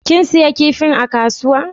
Kin siya kipin a kasuwa?